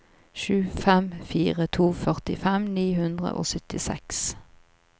sju fem fire to førtifem ni hundre og syttiseks